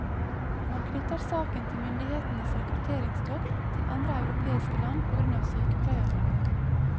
Man knytter saken til myndighetenes rekrutteringstokt til andre europeiske land på grunn av sykepleiermangelen.